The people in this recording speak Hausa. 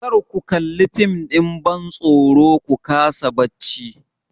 Kar ku kalla fim ɗin bantsoro ku kasa bacci!